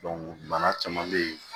bana caman bɛ ye